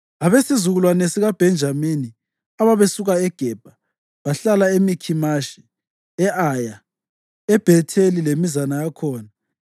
Abesizukulwane sikaBhenjamini ababesuka eGebha bahlala eMikhimashi, e-Aya, eBhetheli lemizana yakhona,